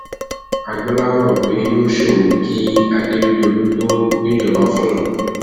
agboola mọ pé yóò sọrọ kí akérèdọlù tóó gbéjọba fóun